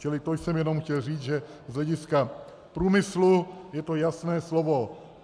Čili to jsem jenom chtěl říct, že z hlediska průmyslu je to jasné slovo.